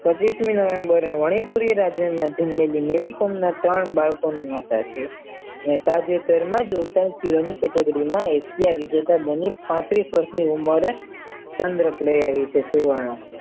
નહીંતીની વાતોમાં મેરી કોમના ત્રણ બાળકોની માતા છે અને તાજેતરમાં જોડતા શિરોહી કેટેગરીમાં એશિયા વિજેતા મને વર્ષની ઉંમરે ચંદ્રક લઈ આવી છે